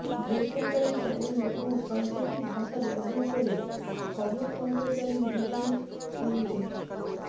বেসরকারি চ্যানেলেও সাংকেতিক ভাষা ব্যবহার করে খবর সম্প্রচারের নির্দেশ কেন্দ্রের